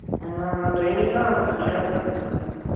அந்த training எல்லாம் நம்ம தனியா தான் பண்ணிக்கணும்.